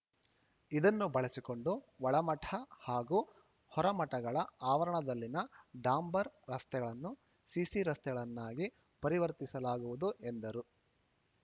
ಇದನ್ನು ಬಳಸಿಕೊಂಡು ಒಳಮಠ ಹಾಗೂ ಹೊರಮಠಗಳ ಆವರಣದಲ್ಲಿನ ಡಾಂಬರ್‌ ರಸ್ತೆಗಳನ್ನು ಸಿಸಿ ರಸ್ತೆಗಳನ್ನಾಗಿ ಪರಿವರ್ತಿಸಲಾಗುವುದು ಎಂದರು